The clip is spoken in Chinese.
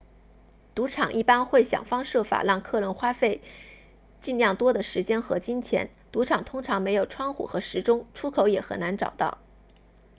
赌场一般会想方设法让客人花费尽量多的时间和金钱赌场通常没有窗户和时钟出口也很难找到